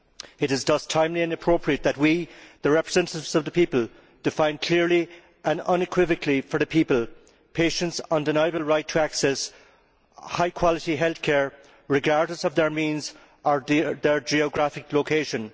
It is thus timely and appropriate that we, the representatives of the people, define clearly and unequivocally for the people patients' undeniable right to access high quality health care, regardless of their means or their geographical location.